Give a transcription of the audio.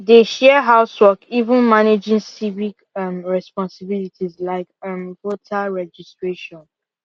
they share house work even managing civic um responsibilities like um voter registration